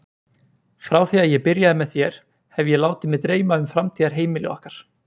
Frá því að ég byrjaði með þér hef ég látið mig dreyma um framtíðarheimili okkar.